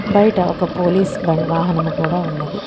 బయట ఒక పోలీస్ బ వాహనము కూడా ఉన్నది.